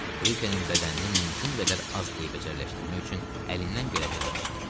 Brikenin bədənini mümkün qədər az eybəcərləşdirmək üçün əlindən gələni eləmişdi.